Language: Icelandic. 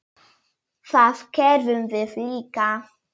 Það gerðum við líka.